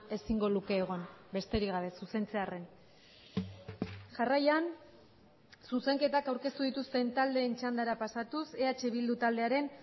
ezingo luke egon besterik gabe zuzentzearren jarraian zuzenketak aurkeztu dituzten taldeen txandara pasatuz eh bildu taldearen